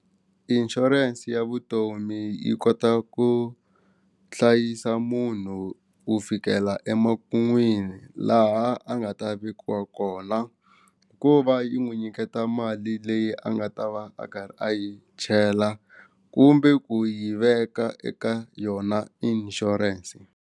Insurance ya vutomi yi kota ku hlayisa munhu ku fikela emakun'wini laha a nga ta vekiwa kona ku va yi n'wi nyiketa mali leyi a nga ta va a karhi a yi chela kumbe ku yi veka eka yona insurance.